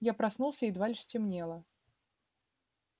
я проснулся едва лишь стемнело